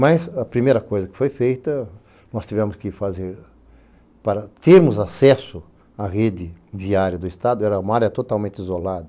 Mas a primeira coisa que foi feita, nós tivemos que fazer, para termos acesso à rede diária do Estado, era uma área totalmente isolada.